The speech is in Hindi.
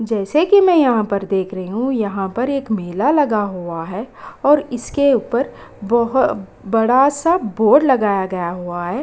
जैसे कि मैं यहाँ पर देख रही हूँ यहाँ पर एक मेला लगा हुआ है और इसके ऊपर बहुत बड़ा-सा बोर्ड लगाया गया हुआ है।